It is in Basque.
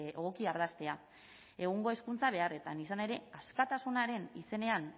egoki ardaztea egungo hezkuntza beharretan izan ere askatasunaren izenean